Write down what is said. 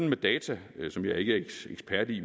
med data som jeg ikke er ekspert i